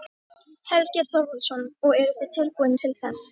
Helgi Þorvaldsson: Og eruð þið tilbúin til þess?